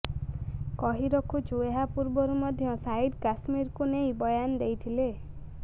କହିରଖୁଛୁ ଏହା ପୂର୍ବରୁ ମଧ୍ୟ ସାହିଦ କାଶ୍ମୀରକୁ ନେଇ ବୟାନ ଦେଇଥିଲେ